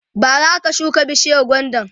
bara aka shuka bishiyar gwandan